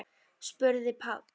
spurði Páll.